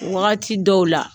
Wagati dɔw la